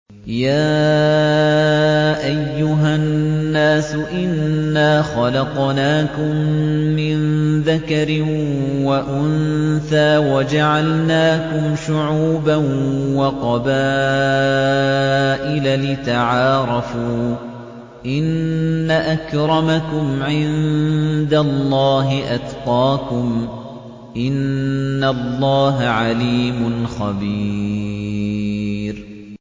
يَا أَيُّهَا النَّاسُ إِنَّا خَلَقْنَاكُم مِّن ذَكَرٍ وَأُنثَىٰ وَجَعَلْنَاكُمْ شُعُوبًا وَقَبَائِلَ لِتَعَارَفُوا ۚ إِنَّ أَكْرَمَكُمْ عِندَ اللَّهِ أَتْقَاكُمْ ۚ إِنَّ اللَّهَ عَلِيمٌ خَبِيرٌ